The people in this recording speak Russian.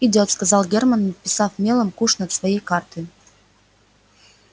идёт сказал германн надписав мелом куш над своей картою